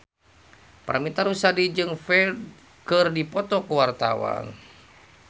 Paramitha Rusady jeung Ferdge keur dipoto ku wartawan